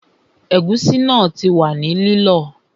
Ẹ̀gúsí náà ti wà ní lílọ